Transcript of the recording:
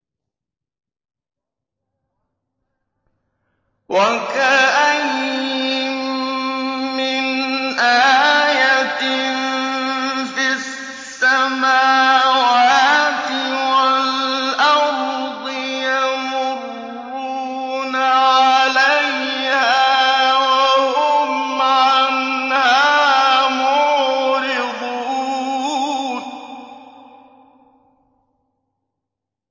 وَكَأَيِّن مِّنْ آيَةٍ فِي السَّمَاوَاتِ وَالْأَرْضِ يَمُرُّونَ عَلَيْهَا وَهُمْ عَنْهَا مُعْرِضُونَ